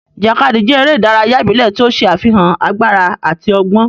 Ijakadi jẹ ere idaraya ibile ti o ṣe afihan agbara ati ọgbọn.